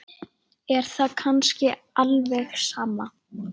Er það kannski alveg sama?